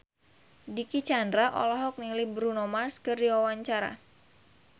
Dicky Chandra olohok ningali Bruno Mars keur diwawancara